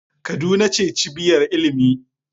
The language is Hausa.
Kaduna ce cibiyar ilimi.